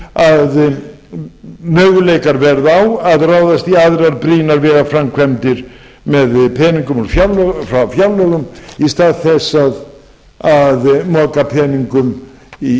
að möguleikar verða á að ráðast í aðrar brýnar vegaframkvæmdir með peningum frá fjárlögum í stað þess að moka peningum í